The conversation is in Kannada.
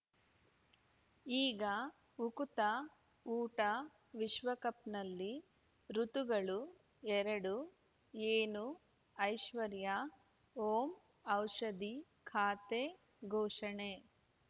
ಈಗ ಉಕುತ ಊಟ ವಿಶ್ವಕಪ್‌ನಲ್ಲಿ ಋತುಗಳು ಎರಡು ಏನು ಐಶ್ವರ್ಯಾ ಓಂ ಔಷಧಿ ಖಾತೆ ಘೋಷಣೆ